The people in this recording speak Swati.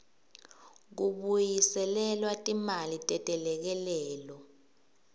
kubuyiselelwa timali tetelekelelo